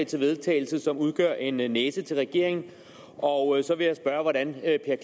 til vedtagelse som udgør en næse til regeringen og så vil jeg spørge hvordan herre